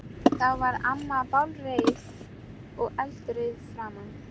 Þá varð amma bálreið og eldrauð í framan.